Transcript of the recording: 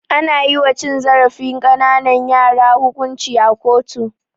Ana yiwa cin zarafin ƙananan yara hukunci a kotu.